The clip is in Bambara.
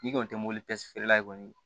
N'i kɔni tɛ mobili feerela kɔni